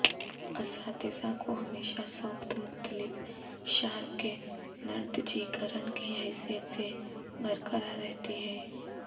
اساتذہ کو ہمیشہ سوخت مختلف شارک کے نردجیکرن کی حیثیت سے برقرار رہتی ہے